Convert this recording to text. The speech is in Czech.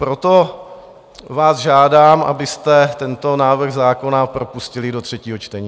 Proto vás žádám, abyste tento návrh zákona propustili do třetího čtení.